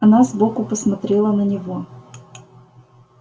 она сбоку посмотрела на него